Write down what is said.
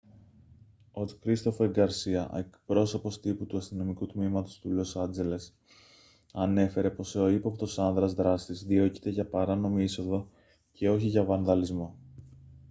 ο christopher garcia εκπρόσωπος τύπου του αστυνομικού τμήματος του λος άντζελες ανέφερε πως ο ύποπτος άνδρας δράστης διώκεται για παράνομη είσοδο και όχι για βανδαλισμό